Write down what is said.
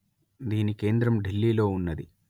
దీని కేంద్రం ఢిల్లీ లో వున్నది